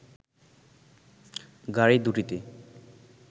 গাড়ি দু'টিতে